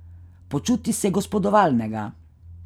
Počuti se gospodovalnega.